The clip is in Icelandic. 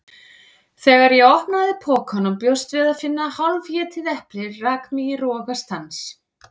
Þegar ég opnaði pokann og bjóst við að finna hálfétið eplið rak mig í rogastans.